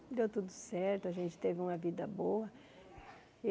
Deu tudo certo, a gente teve uma vida boa.